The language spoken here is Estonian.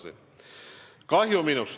Teil on minust kahju?